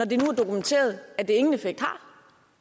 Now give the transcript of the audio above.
dokumenteret at det ingen effekt har